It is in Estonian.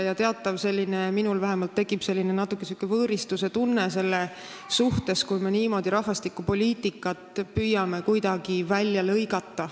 Vähemalt minul tekib natuke võõristuse tunne, kui me püüame kuidagi niimoodi rahvastikupoliitikat välja lõigata.